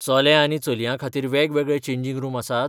चले आनी चलयां खातीर वेगवेगळे चेंजिंग रूम आसात?